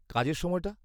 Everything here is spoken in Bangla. -কাজের সময়টা?